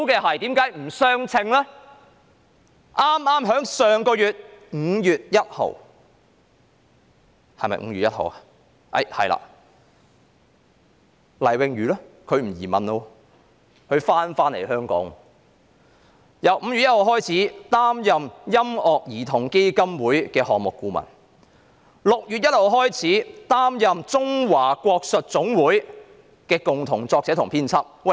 我認為最離譜的是待遇上有不相稱的地方是，黎穎瑜其後放棄移民回港，並由5月1日起擔任音樂兒童基金會的項目顧問 ；6 月1日起將擔任中華國術總會的共同作者和編輯。